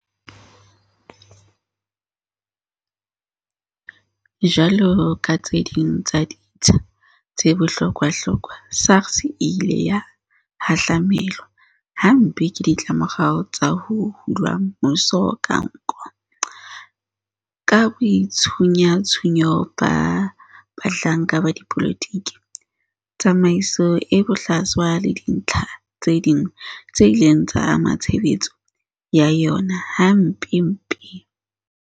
Jwalo ka tse ding tsa ditsha tse bohlokwahlokwa, SARS e ile ya hahlamelwa hampe ke ditlamorao tsa ho hula mmuso ka nko, ka boitshunyatshunyo ba bahlanka ba dipolotiki, tsamaiso e bohlaswa le dintlha tse ding tse ileng tsa ama tshebetso ya yona hampempe.